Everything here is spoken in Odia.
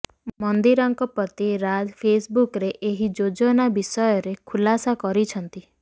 ମନ୍ଦିରାଙ୍କ ପତି ରାଜ ଫେସବୁକରେ ଏହି ଯୋଜନା ବିଷୟରେ ଖୁଲାସା କରିଛନ୍ତି